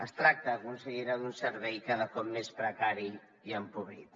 es tracta consellera d’un servei cada cop més precari i empobrit